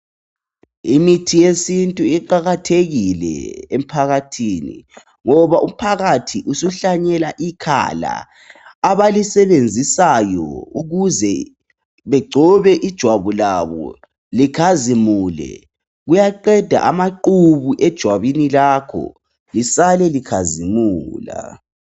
Imithi yesintu iqakathekile emphakathini ngoba umphakathi usuhlanyela ikhala, abalisebenzisayo ukuze bagcobe ijwabu likhazimule. Kuyaqeda amaqhubu ejwabini lakho lihlale likhazimula.